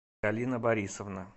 галина борисовна